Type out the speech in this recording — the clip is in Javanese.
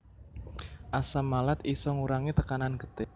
Asam malat isa ngurangi tekanan getih